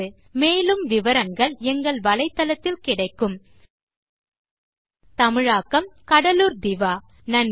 spoken hyphen tutorial dot org slash NMEICT hyphen intro மூல பாடம் இட் போர் changeதமிழாக்கம் கடலூர் திவா நன்றி